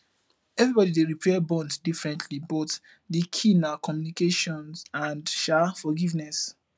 everybody dey repair bonds differently but di key na communication and um forgiveness